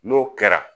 N'o kɛra